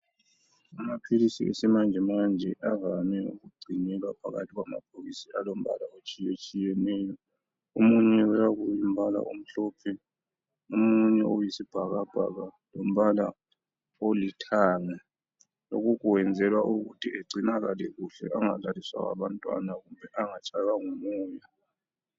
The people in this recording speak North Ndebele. Amaphilisi yesimanjemanje avame ukugcinwa phakathi kwamabhokisi aluhlaza alombala otshiyetshiyeneyo omunye uyabe ulombala omhlophe omunye uyisibhakabhaka lombala olithanga lokhu kwenzelwa ukuthi egcinakale kuhle angadlaliswa ngabantwana angatshaywa ngumoya.